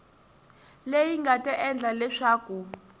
leyi nga ta endla leswaku